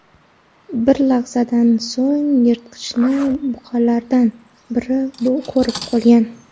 Bir lahzadan so‘ng yirtqichni buqalardan biri ko‘rib qolgan.